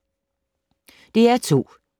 DR2